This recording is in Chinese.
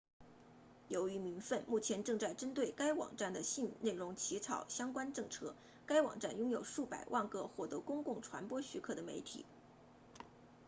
由于民愤目前正在针对该网站的性内容起草相关政策该网站拥有数百万个获得公共传播许可的媒体